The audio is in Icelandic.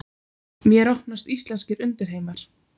Mér opnast íslenskir undirheimar.